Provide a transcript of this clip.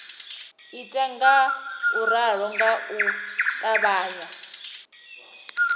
ita ngauralo nga u ṱavhanya